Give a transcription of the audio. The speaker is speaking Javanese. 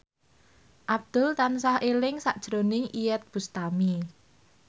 Abdul tansah eling sakjroning Iyeth Bustami